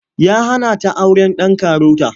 Ya hana ta auren ɗan karota.